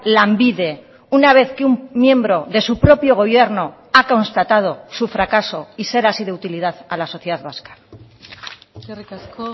lanbide una vez que un miembro de su propio gobierno ha constatado su fracaso y ser así de utilidad a la sociedad vasca eskerrik asko